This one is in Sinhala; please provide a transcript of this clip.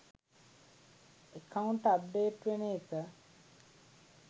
එකවුන්ට් අප්ඩේට් වෙන එක.